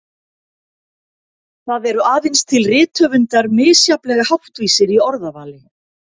Það eru aðeins til rithöfundar misjafnlega háttvísir í orðavali.